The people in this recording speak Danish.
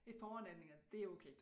Et par overnatninger det okay